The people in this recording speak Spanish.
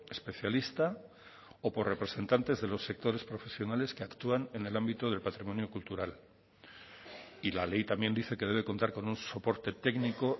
especialista o por representantes de los sectores profesionales que actúan en el ámbito del patrimonio cultural y la ley también dice que debe contar con un soporte técnico